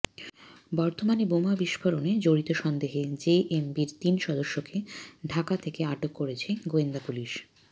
বর্ধমানে বোমা বিস্ফোরণে জড়িত সন্দেহে জেএমবির তিন সদস্যকে ঢাকা থেকে আটক করেছে গোয়েন্দা পুলিশ